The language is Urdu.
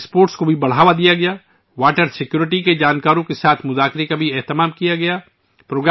اس کے تحت واٹر اسپورٹس کو بھی فروغ دیا گیا اور آبی تحفظ کے ماہرین کے ساتھ غور و فکر بھی کیا گیا